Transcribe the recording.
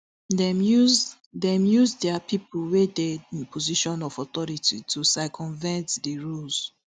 dem use dem use dia pipo wey dey in positions of authority to circumvent di rules